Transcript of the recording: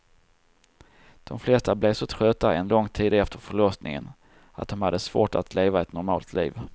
De flesta blev så trötta en lång tid efter förlossningen att de hade svårt att leva ett normalt liv.